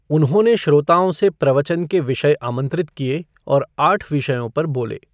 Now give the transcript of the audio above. उन्होंने श्रोताओं से प्रवचन के विषय आमंत्रित किए और आठ विषयों पर बोले।